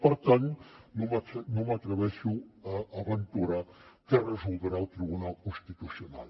per tant no m’atreveixo a aventurar què resoldrà el tribunal constitucional